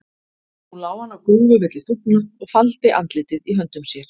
Nú lá hann á grúfu milli þúfna og faldi andlitið í höndum sér.